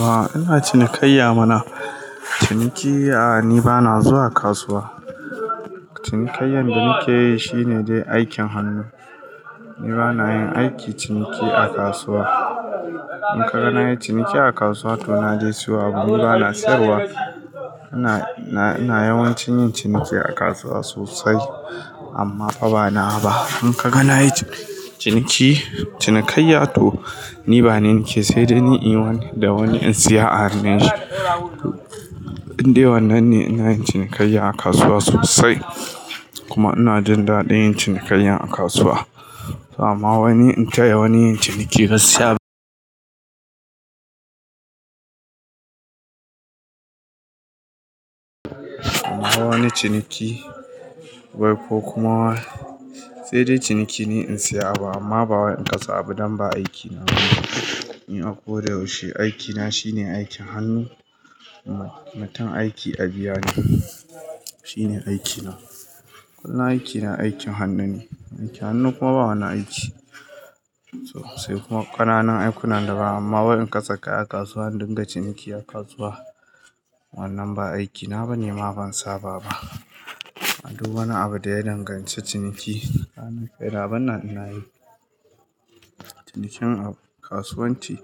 A ina cinikayya mana. Ciniki a, ni bana zuwa kasuwa. Cinikayyan da nake yi shine dai aikin hannu. Ni bana yin aiki ciniki a kasuwa. In ka ga na yi ciniki a kasuwa to na je siyo abu, ni bana sayarwa. Ina, ina yawancin yin ciniki a kasuwa sosai amma fa banawa ba. In ka ga na yi ciniki, cinikayya to ni ba ne nake sai dai ni inyi da wani in saya a hannun shi. Inde wannan ne ina yin cinikayya a kasuwa sosai kuma ina jin daɗin yin cinikayya a kasuwa. Kuma wani in taya wani yin ciniki gaskiya kuma wani ciniki bai fo kuma sai dai ciniki ne in saya abu amma ba wani in kasa abu don ba aikina ne. Ni a ko da yaushe aikina shine aikin hannu. Mutum aiki a biya ni. Shine aikina. Kullum aikina aikin hannu ne. Aikin hannu kuma ba wani aiki sosai kuma ƙananan aiku na da ba amma wani in kasa kai a kasuwa in dinga ciniki a kasuwa wannan ba aikina ba ne ma ban saba ba. A duk wani abu da ya danganci ciniki kaina banna ina yi. Cinikin kasuwanci